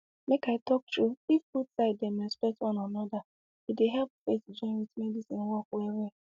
make i talk true if both side dem respect one anoda e dey help faith join with medicine work well well